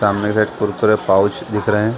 सामने एक कुरकुरे पाउच दिख रहे है।